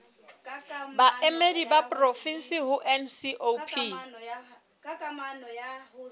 baemedi ba porofensi ho ncop